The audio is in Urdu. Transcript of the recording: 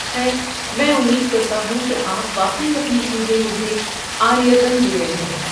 خیر، میں امید کرتا ہوں کہ آپ واقعی اپنی چیزیں مجھے عاریۃً دے رہے ہیں۔